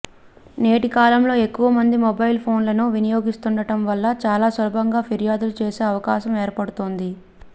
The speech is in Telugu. నేటి కాలంలో ఎక్కువ మంది మొబైల్ ఫోన్లను వినియోస్తుండటం వల్ల చాలా సులభంగా ఫిర్యాదులు చేసే అవకాశం ఏర్పడుతోంది